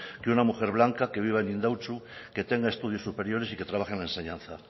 que una mujer blanca que viva en indautxu que tenga estudios superiores y que trabaje en la enseñanza